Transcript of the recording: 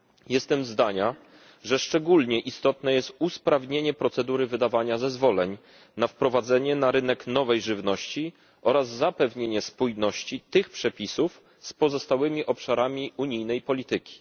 Jestem zdania, że szczególnie istotne jest usprawnienie procedury wydawania zezwoleń na wprowadzenie na rynek nowej żywności oraz zapewnienie spójności tych przepisów z pozostałymi obszarami unijnej polityki.